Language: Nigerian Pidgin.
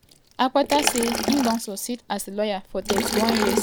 akpata say im don succeed as a lawyer for 31 years starting from nearly notin to wia im dey now.